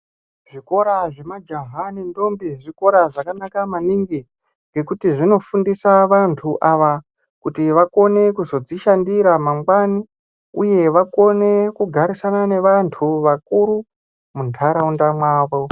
Zvikora zvemajaha nendombi zvikora zvakanaka maningi ngekuti zvinofundisa vantu ava kuti vakone kuzvodzishandira mangwani uye vakone kugarisana ngevantu vakuru muntaraunda mavo .